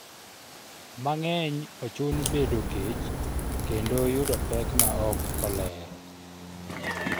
mang'eny ochun bedo kech kendo yudo pek ma ok oler